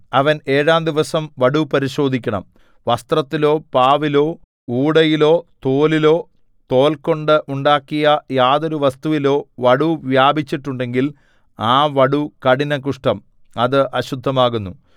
അവൻ ഏഴാം ദിവസം വടു പരിശോധിക്കണം വസ്ത്രത്തിലോ പാവിലോ ഊടയിലോ തോലിലോ തോൽകൊണ്ട് ഉണ്ടാക്കിയ യാതൊരു വസ്തുവിലോ വടു വ്യാപിച്ചിട്ടുണ്ടെങ്കിൽ ആ വടു കഠിന കുഷ്ഠം അത് അശുദ്ധമാകുന്നു